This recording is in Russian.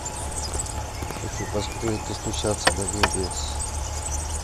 хочу посмотреть достучаться до небес